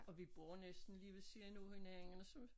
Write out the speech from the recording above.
Og vi bor næsten lige ved siden af hinanden så